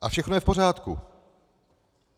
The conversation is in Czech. A všechno je v pořádku.